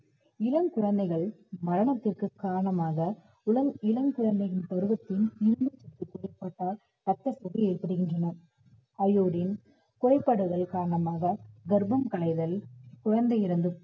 இளம் குழந்தைகள், மரணத்திற்கு காரணமாக குளம் இளம் குழந்தையின் பருவத்தின் ரத்தப் புற்று ஏற்படுகின்றன அயோடின் குறைபாடுகள் காரணமாக கர்ப்பம் கலைதல், குழந்தை இறந்து